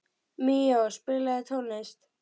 Míó, spilaðu tónlist.